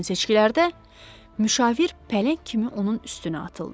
Gələn seçkilərdə müşavir pələng kimi onun üstünə atıldı.